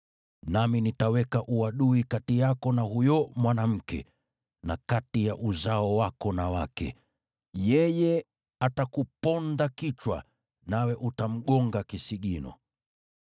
Nami nitaweka uadui kati yako na huyo mwanamke, na kati ya uzao wako na wake, yeye atakuponda kichwa, nawe utamuuma kisigino.”